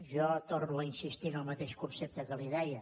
jo torno a insistir en el mateix concepte que li deia